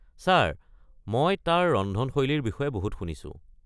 Sir, মই তাৰ ৰন্ধনশৈলীৰ বিষয়ে বহুত শুনিছো।